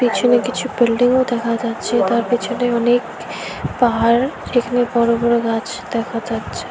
পেছনে কিছু বিল্ডিংও দেখা যাচ্ছে তার পেছনে অনেক পাহাড় যেখানে বড় বড় গাছ দেখা যাচ্ছে।